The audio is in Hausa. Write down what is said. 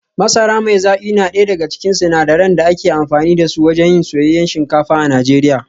Masara mai zaki na daya daga cikin sinadaran da ake amfani da su wajen yin soyayyen shinkafa a Najeriya